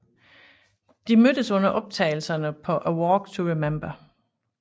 De mødtes under optagelserne på A Walk to Remember